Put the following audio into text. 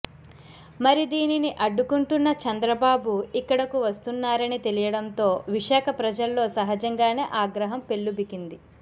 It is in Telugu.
మరి దీనిని అడ్డుకుంటున్న చంద్రబాబు ఇక్కడకు వస్తున్నారని తెలియడంతో విశాఖ ప్రజల్లో సహజంగానే ఆగ్రహం పెల్లుబికింది